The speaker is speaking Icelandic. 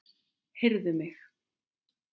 Heyrðu mig.